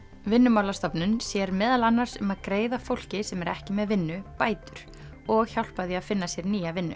Vinnumálastofnun sér meðal annars um að greiða fólki sem er ekki með vinnu bætur og hjálpa því að finna sér nýja vinnu